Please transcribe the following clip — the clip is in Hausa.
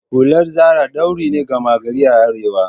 Hular Zara ɗauri ne gama gari a arewa